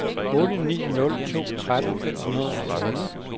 otte ni nul to tretten fem hundrede og tyve